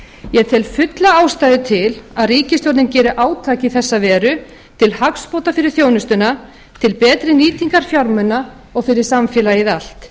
ég tel fulla ástæðu til að ríkisstjórnin geri átak í þessa veru til hagsbóta fyrir þjónustuna til betri nýtingar fjármuna og fyrir samfélagið allt